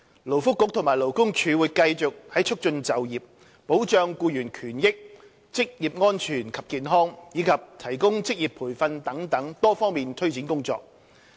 勞工及福利局和勞工處會繼續在促進就業、保障僱員權益、職業安全及健康，以及提供職業培訓等多方面推展工作。